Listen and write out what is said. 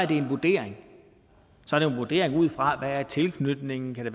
det er en vurdering ud fra tilknytningen